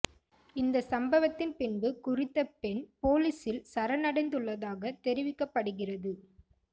இந்த சம்பவத்தின் பின்பு குறித்த பெண் பொலிஸில் சரணடைந்துள்ளதாக தெரிவிக்கப்படுகிறது